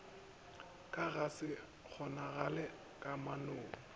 go ka se kgonagale kamanong